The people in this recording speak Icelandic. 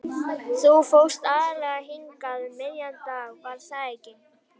Þú fórst aðallega hingað um miðjan dag, var það ekki?